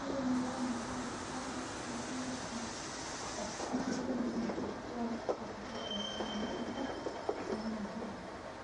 olly, waa maxay qaar ka mid ah dhacdooyinka soo socda ee aan rabo inaan tago?